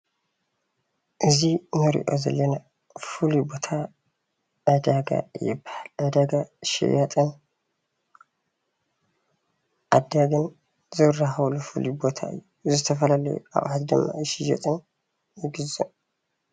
እዚ እንሪኦ ዘለና ፍሉይ ቦታ ዕደጋ ይባሃል፡፡ ዕዳጋ ሸያጥን ዓዳጊን ዝራከበሉ ፉሉይ ቦታ እዩ፡፡ ዝተፈላለዩ ኣቁሑት ድማ ይሽየጥን ይግዛእን፡፡